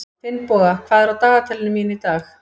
Finnboga, hvað er á dagatalinu mínu í dag?